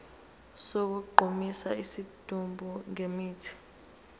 sokugqumisa isidumbu ngemithi